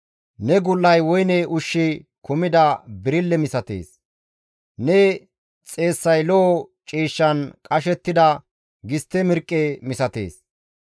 Ne gul7ay woyne ushshi kumida birille misatees; ne xeessay lo7o ciishshan qashettida gistte mirqqe misatees.